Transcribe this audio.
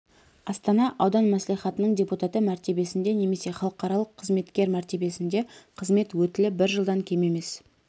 астана аудан мәслихатының депутаты мәртебесінде немесе халықаралық қызметкер мәртебесінде қызмет өтілі бір жылдан кем емес